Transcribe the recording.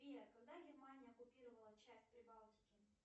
сбер когда германия оккупировала часть прибалтики